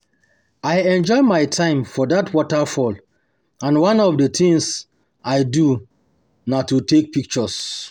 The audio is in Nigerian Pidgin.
I enjoy my time for dat waterfall and one of the things I do um na um to take pictures um